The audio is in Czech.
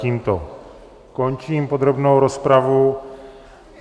Tímto končím podrobnou rozpravu.